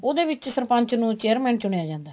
ਉਹਦੇ ਵਿੱਚ ਸਰਪੰਚ ਨੂੰ chairman ਚੁਣਿਆ ਜਾਂਦਾ ਹੈ